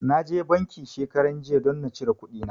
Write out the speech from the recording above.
Na je banki shekaranjiya don na cire kuɗina.